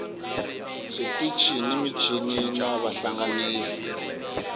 switichi ni michini na vahlanganisi